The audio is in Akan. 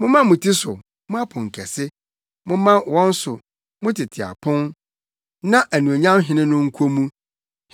Momma mo ti so, mo aponkɛse momma wɔn so, mo tete apon, na anuonyam Hene no nkɔ mu.